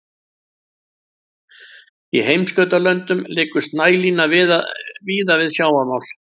í heimskautalöndum liggur snælína víða við sjávarmál